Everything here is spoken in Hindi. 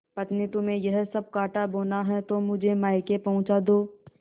पत्नीतुम्हें यह सब कॉँटा बोना है तो मुझे मायके पहुँचा दो